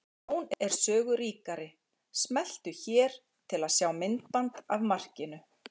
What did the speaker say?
Sjón er sögu ríkari. Smelltu hér til að sjá myndband af markinu